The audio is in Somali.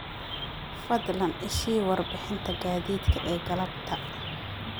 fadlan i sii warbixinta gaadiidka ee galabta